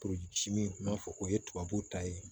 n'a fɔ o ye tubabu ta ye